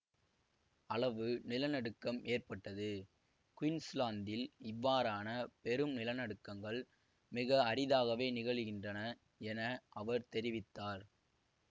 அளவு நிலநடுக்கம் ஏற்பட்டது குயின்ஸ்லாந்தில் இவ்வாறான பெரும் நிலநடுக்கங்கள் மிக அரிதாகவே நிகழுகின்றன என அவர் தெரிவித்தார்